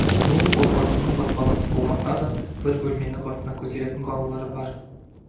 бұл отбасының баспанасы болмаса да бір бөлмені басына көтеретін балалары бар